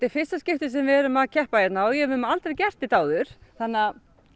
fyrsta skipti sem við erum að keppa hérna og við höfum aldrei gert þetta áður þannig að